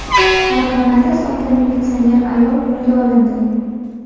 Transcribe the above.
Farg‘onada soxta militsioner ayol qo‘lga olindi.